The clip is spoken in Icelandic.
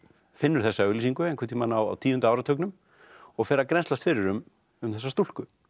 finnur þessa auglýsingu einhvern tímann á tíunda áratugnum og fer að grennslast fyrir um um þessa stúlku